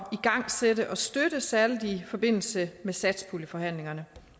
igangsætte og støtte særlig i forbindelse med satspuljeforhandlingerne